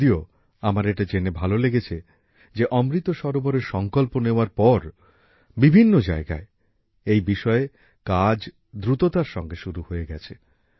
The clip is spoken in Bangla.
যদিও আমার এটা জেনে ভালো লেগেছে যে অমৃত সরোবরের সংকল্প নেওয়ার পর বিভিন্ন জায়গায় এই বিষয়ে কাজ দ্রুততার সঙ্গে শুরু হয়ে গেছে